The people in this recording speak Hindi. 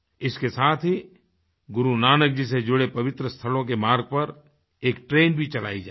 इसके साथ ही गुरु नानक जी से जुड़े पवित्र स्थलों के मार्ग पर एक ट्रेन भी चलाई जायेगी